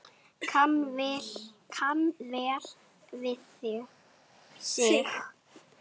Kann vel við sig